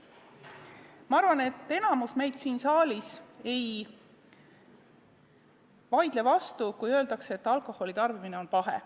Ma arvan, et enamik siin saalis ei vaidle vastu, kui öeldakse, et alkoholi tarbimine on pahe.